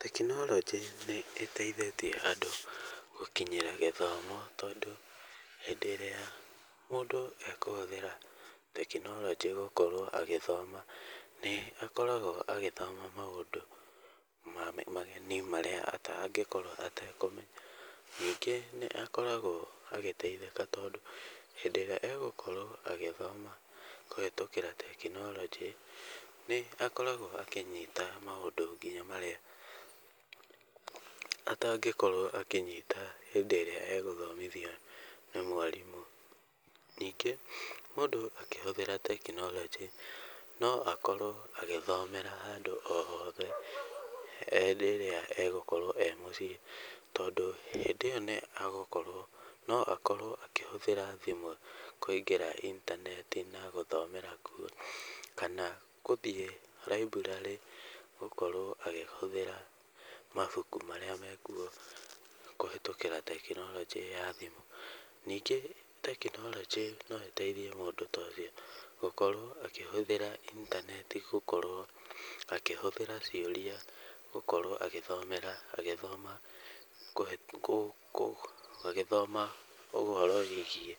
Tekinoronjĩ nĩ ĩteithĩtie andũ gũkinyĩra gĩthomo tondũ hĩndĩ ĩrĩa mũndü ekũhũthĩra tekinoronjĩ gũkorwo agĩthoma nĩ akoragwo agĩthoma maũndũ mageni marĩa atangĩkorwo atekũmenya. Ningĩ nĩ akoragwo agĩteithĩka tondũ hĩndĩ ĩrĩa egũkorwo agĩthoma kũhĩtũkĩra tekinoronjĩ nĩ akoragwo akĩnyita maũndũ nginya marĩa atangĩkorwo akĩnyita hĩndĩ ĩrĩa egũthomithio nĩ mwarimũ. Ningĩ mũndũ akĩhũthĩra tekinoronjĩ no akorwo agĩthomera andũ othe rĩrĩa egũkorwo ee mũciĩ. Tondũ hĩndĩ ĩyo no akorwo akĩhũthĩra thimũ kũingĩra intaneti na gũthomera kuo, kana gũthiĩ library gũkorwo akĩhũthĩra mabuku marĩa mekuo kũhĩtũkĩra tekinoronjĩ ya thimũ. Ningi tekinoronjĩ no ĩteithie mũndũ ta ũcio gũkorwo akĩhũthĩra intaneti gũkorwo akĩhũthĩra ciũria gũkorwo agĩthomera, agĩthoma, agĩthoma ũhoro wĩgiĩ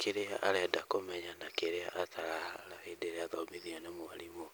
kĩrĩa arenda kũmenya na kĩrĩa atarona hĩndĩ ĩrĩa athomithio nĩ mwarimũ.